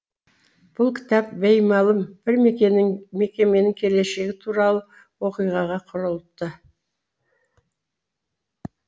бұл кітап беймәлім бір мекеннің келешегі туралы оқиғаға құрылыпты